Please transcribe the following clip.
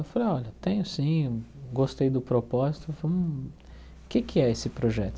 Eu falei, olha, tenho sim, gostei do propósito, vamos... O que é que é esse projeto?